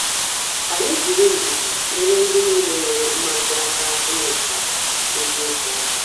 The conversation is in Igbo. Ka anyị jiri ndidi nyere ndị niile nwere mmasị aka ịmụta eziokwu ahụ.